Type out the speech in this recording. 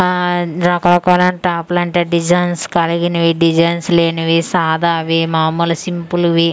ఆ రకరకాల టాపులంట డిజైన్స్ కలిగినవి డిజైన్స్ లేనివి సాదావి మామూలు సింపుల్ వి.